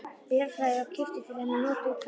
Bjarnarflagi og keyptur til hennar notaður hverfill.